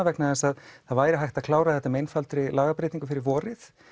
vegna þess að það væri hægt að klára þetta með einfaldri lagabreytingu fyrir vorið